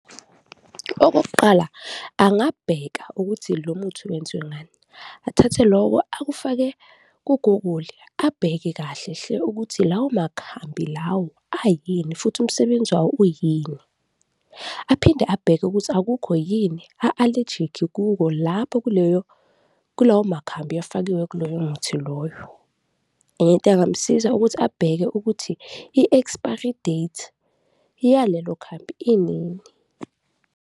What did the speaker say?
Okokuqala, angabheka ukuthi lo muthi wenziwe ngani, athathe loko akufake ku-Google-i, abheke kahle hle ukuthi lawo makhambi lawo ayini futhi umsebenzi wawo uyini aphinde abheke ukuthi akukho yini a-alejikhi kuko lapho kuleyo, kulawo makhambi afakiwe kuloyo muthi loyo. Enye into engamusiza ukuthi abheke ukuthi i-expiry date yalelo khambi inini.